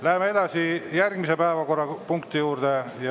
Läheme edasi järgmise päevakorrapunkti juurde.